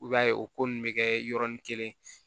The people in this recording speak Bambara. I b'a ye o ko nunnu bɛ kɛ yɔrɔnin kelen